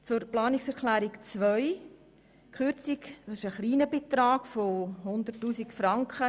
Zu Planungserklärung 2: Hier geht es um einen kleinen Betrag von 100 000 Franken.